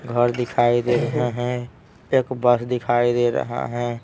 घर दिखाई दे रहे हैं एक बस दिखाई दे रहा है।